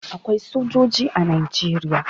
Akwai sojoji a Najeriya.